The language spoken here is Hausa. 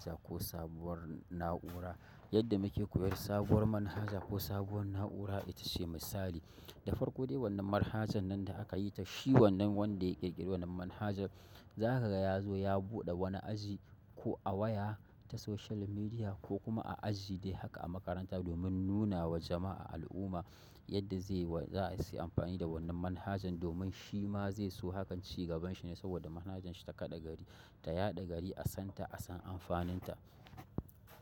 Manhaja ko sabuwar na'ura, yadda muke koyar sabuwar manhaja ko sabuwar na'ura, ita ce misali. Da farko dai wannan manhajan nan da aka yi ta shi wannan wanda ya ƙirƙiri wannan manhajar, za ka ga ya zo ya buɗe wani aji ko a waya ta social media ko kuma a aji dai haka a makaranta domin nuna wa jama'a al'umma yadda zai wa za a yi amfani da wannan manhajan domin shi ma zai so hakan shugaban shi ne saboda manhajan shi ta kaɗa gari ta yaɗa gari a santa, a san amfanin ta.